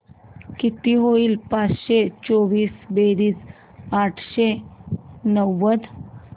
किती होईल पाचशे चोवीस बेरीज आठशे नव्वद